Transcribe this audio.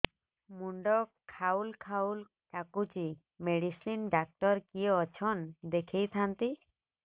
ମୁଣ୍ଡ ଖାଉଲ୍ ଖାଉଲ୍ ଡାକୁଚି ମେଡିସିନ ଡାକ୍ତର କିଏ ଅଛନ୍ ଦେଖେଇ ଥାନ୍ତି